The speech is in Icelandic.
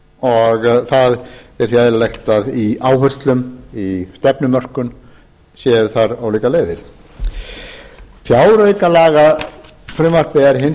og það er því eðlilegt í áherslum og í stefnumörkun séu þar ólíkar leiðir um